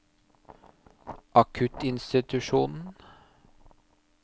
akuttinstitusjonen